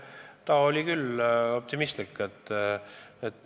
Ta oli optimistlik.